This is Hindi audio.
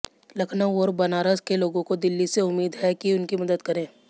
लखनऊ और बनारस के लोगों को दिल्ली से उम्मीद है कि उनकी मदद करें